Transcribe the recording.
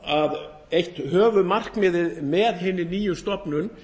er eitt höfuðmarkmiðið með hinni nýju stofnun